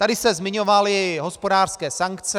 Tady se zmiňovaly hospodářské sankce.